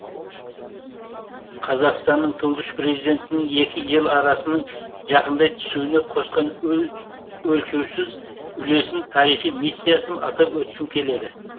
қазақстанның тұңғыш президентінің екі ел арасының жақындай түсуіне қосқан өлшеусіз үлесін тарихи миссиясын атап өткім келеді